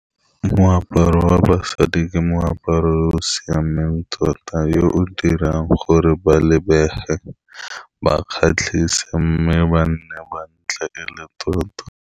Moaparo wa basadi ke moaparo o o siameng tota, yo o dirang gore ba lebege ba kgatlhise, mme ba nne ba ntle e le tota.